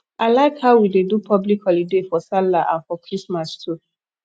i like how we dey do public holiday for sallah and for christmas too